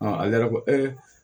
ale yɛrɛ ko